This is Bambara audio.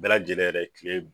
Bɛɛ lajɛlen yɛrɛ kile